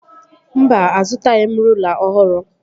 Mba, azụtaghị m rụla ọhụrụ